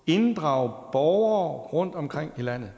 inddrage borgere rundtomkring i landet